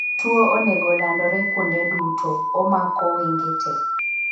Tuo onogo landore kuonde duto (omako wenge tee.)